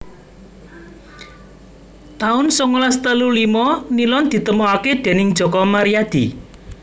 taun songolas telu limo Nilon ditemokaké déning Joko Maryadi